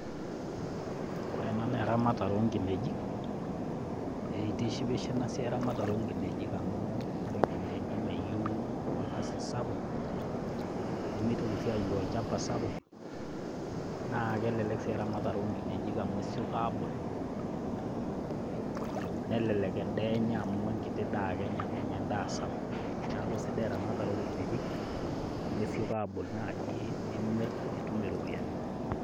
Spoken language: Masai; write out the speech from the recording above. Ore ena naa eramatare o nkineji, itishipisho ena siai eramatare o nkinejik amu ore nkinejik meyeu orkasi sapuk nemitoki sii ayeu olchamba sapuk naa kelelek sii eramatare o nkinejik amu kesioki abul, nelelek endaa enye amu enkiti daa ake enya menya endaa sapuk. Neeku sidai eramatare o nkinejik amu esioki abul naji nimir nitum iropiani.